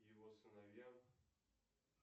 его сыновья